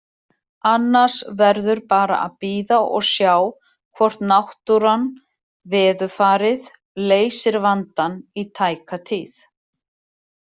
Annars verður bara að bíða og sjá hvort náttúran, veðurfarið, leysir vandann í tæka tíð.